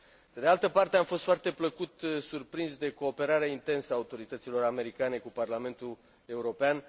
Pe de altă parte, am fost foarte plăcut surprins de cooperarea intensă a autorităților americane cu Parlamentul European.